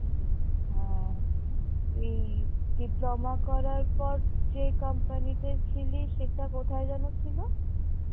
হ্যাঁ এই diploma করার পর যে company তে ছিলিস সেটা কোথায় যেন ছিলো?